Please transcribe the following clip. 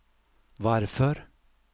varför